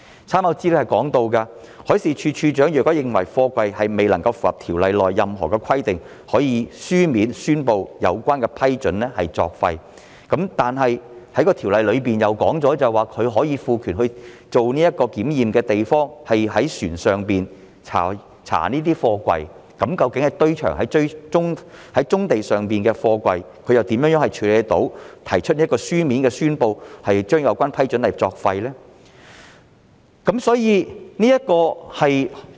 參考資料提到，海事處處長若認為有貨櫃未能符合條例內任何規定，可以書面宣布有關批准作廢，但是條例又訂明可以賦權以船上作為檢驗的地方，在船上檢查貨櫃，那麼對於棕地上的貨櫃，如何可以書面宣布有關批准作廢呢？